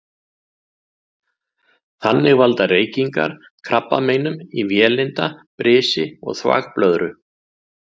Þannig valda reykingar krabbameinum í vélinda, brisi og þvagblöðru.